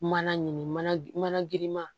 Mana ɲini mana mana girinma